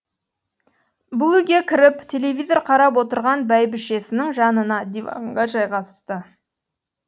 бұл үйге кіріп телевизор қарап отырған бәйбішесінің жанына диванға жайғасты